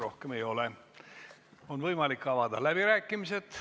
Rohkem küsimusi ei ole ja meil on võimalik avada läbirääkimised.